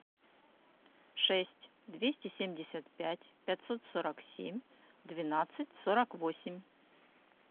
шесть двести семьдесят пять пятьсот сорок семь двенадцать сорок восемь